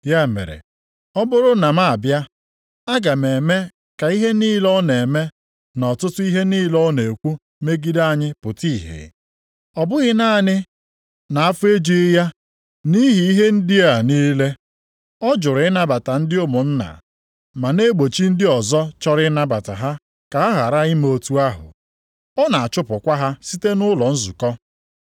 Ya mere, ọ bụrụ na m abịa, aga m eme ka ihe niile ọ na-eme na ọtụtụ ihe niile ọ na-ekwu megide anyị pụta ìhè. Ọ bụghị naanị na afọ ejughi ya nʼihi ihe ndị a niile, ọ jụrụ ịnabata ndị ụmụnna, ma na-egbochi ndị ọzọ chọrọ ịnabata ha ka ha ghara ime otu ahụ. Ọ na-achụpụkwa ha site nʼụlọ nzukọ.